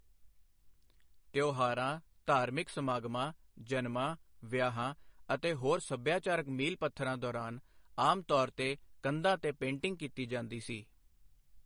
ਤਿਉਹਾਰਾਂ, ਧਾਰਮਿਕ ਸਮਾਗਮਾਂ, ਜਨਮਾਂ, ਵਿਆਹਾਂ ਅਤੇ ਹੋਰ ਸੱਭਿਆਚਾਰਕ ਮੀਲ ਪੱਥਰਾਂ ਦੌਰਾਨ ਆਮ ਤੌਰ 'ਤੇ ਕੰਧਾਂ ਤੇ ਪੇਂਟਿੰਗ ਕੀਤੀ ਜਾਂਦੀ ਸੀ।